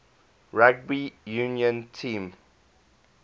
rugby union team